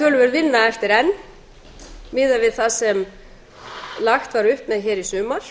töluverð vinna eftir enn miðað við það sem lagt var upp með hér í sumar